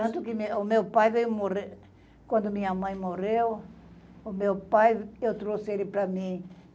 Tanto que o meu meu pai veio morrer... Quando minha mãe morreu, o meu pai, eu trouxe ele para mim.